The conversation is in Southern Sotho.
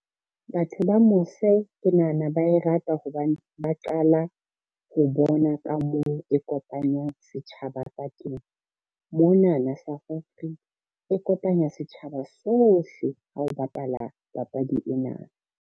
Batho ba mose ke nahana ba e rata hobane ba qala, ho bona ka moo e kopanyang setjhaba ka teng. Monana South Africa, e kopanya setjhaba sohle ha o bapala papadi ena.